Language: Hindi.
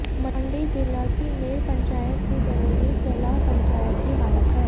मंडी जिला की नेर पंचायत की तरह ही चलाह पंचायत की हालत है